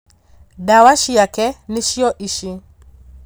Ndawa ciake nĩcio ici